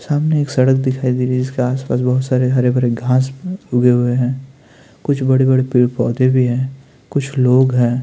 सामने एक सड़क दिखाई दे रही है जिसके आसपास बहोत {बहुत) सारे हरे भरे घास उगे हुए हैं। कुछ बड़े बड़े पेड़ पौधे भी है कुछ लोग हैं।}